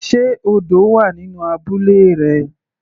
Sé odò wà nínú abúlé rẹ.